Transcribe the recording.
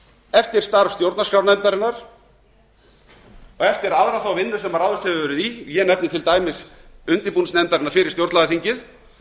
eftir starf stjórnarskrárnefndarinnar og eftir aðra þá vinnu sem ráðist hefur verið í ég nefni til dæmis undirbúningsnefndarinnar fyrir stjórnlagaþingið